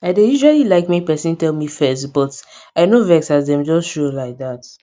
i dey usually like make person tell me first but i no vex as dem just show like dat